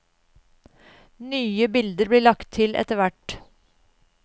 Nye bilder blir lagt til etterhvert.